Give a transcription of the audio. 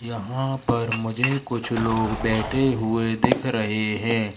यहां पर मुझे कुछ लोग बैठे हुए दिख रहे है।